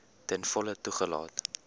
ten volle toegelaat